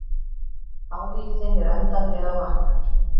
Áhugi þinn er endanlega vaknaður.